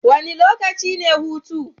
Wane lokaci ne hutu?